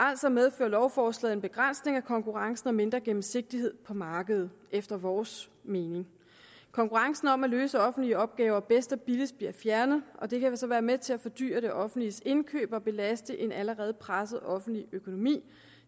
altså medfører lovforslaget en begrænsning af konkurrencen og mindre gennemsigtighed på markedet efter vores mening konkurrencen om at løse offentlige opgaver bedst og billigst bliver fjernet og det kan så være med til at fordyre det offentliges indkøb og belaste en allerede presset offentlig økonomi